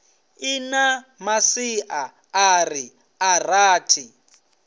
ḽi na masiaṱari a rathi